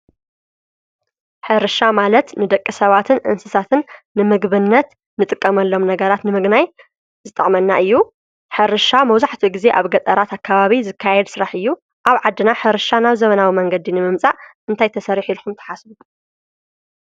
ሕርሻ ማለት ንደቀ ሰባትን እንስሳትን ንምግብነት ንጥቀመሎም ነገራት ንምግናይ ዝጠቕመና እዩ ሕርሻ መውዙሕቲ ጊዜ ኣብ ገጠራት ኣካባቢ ዝካየድ ሥራሕ እዩ ኣብ ዓድና ሕርሻ ናብ ዘመናዊ መንገዲ ንምምጻእ እንታይተሠሪሕ ኢልኹም ተሓስቡ